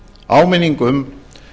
áminning um